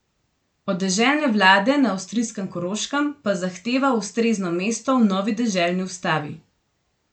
Od deželne vlade na avstrijskem Koroškem pa zahteva ustrezno mesto v novi deželni ustavi.